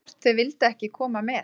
Hvort þau vildu ekki koma með?